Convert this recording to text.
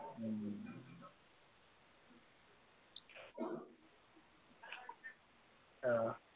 অ